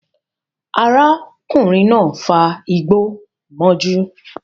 Arákùnrin náà fa igbó mọ́jú